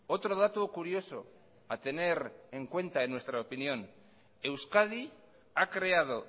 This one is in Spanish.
otro dato curioso a tener en cuenta en nuestra opinión euskadi ha creado